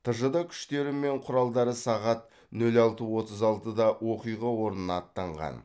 тжд күштері мен құралдары сағат нөл алты отыз алтыда оқиға орнына аттанған